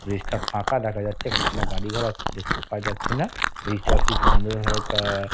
Bridge -টা ফাঁকা দেখা যাচ্ছে। এখন কোন গাড়ি ঘোড়া কিছু দেখতে পাওয়া যাচ্ছে না । ব্রিজ -টা খুব সুন্দর ভাবে কাহ --